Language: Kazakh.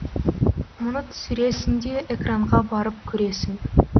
мұны түсіресің де экранға барып көресің